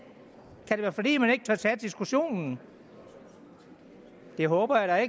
være fordi man ikke tør tage diskussionen det håber jeg